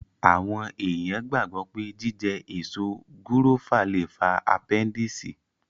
Àwọn èèyàn gbàgbọ́ pé jíjẹ èso gúrófà lè fa apẹ́ndìsì